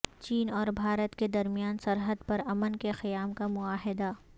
چین اور بھارت کے درمیان سرحد پر امن کے قیام کا معاہدہ